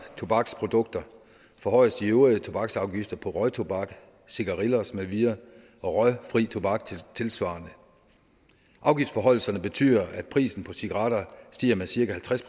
tobaksprodukter forhøjes de øvrige tobaksafgifter på røgtobak cigarillos med videre og røgfri tobak tilsvarende afgiftsforhøjelserne betyder at prisen på cigaretter stiger med cirka halvtreds